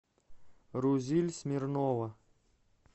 рузиль смирнова